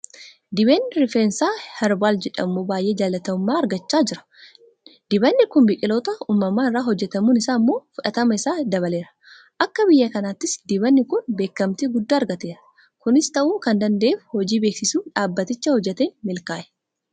Dibanni rifeensaa heerbaal jedhamu baay'ee jaalatamummaa argachaa jira. Dibanni kun biqiltoota uumamaa irraa hojjetamuun isaa immoo fudhatama isaa dabaleera. Akka biyya kanaattis dibanni kun beekamtii guddaa argateera. Kunis ta'uu kan danda'eef hojii beeksisuu dhaabbatichi hojjeteeni milkaa'e.